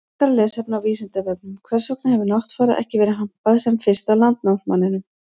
Frekara lesefni á Vísindavefnum: Hvers vegna hefur Náttfara ekki verið hampað sem fyrsta landnámsmanninum?